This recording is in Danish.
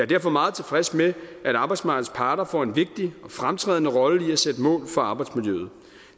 derfor meget tilfreds med at arbejdsmarkedets parter får en vigtig og fremtrædende rolle i at sætte mål for arbejdsmiljøet